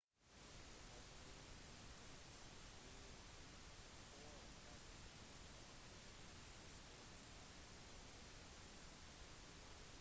helikoptre hentet de 12 personene og den eneste skaden var en brukket nese